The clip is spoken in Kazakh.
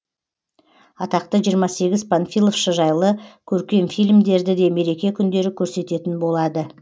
атақты жиырма сегіз панфиловшы жайлы көркем фильмдерді де мереке күндері көрсететін болады